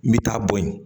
N bɛ taa bo ye